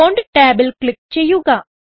font ടാബിൽ click ചെയ്യുക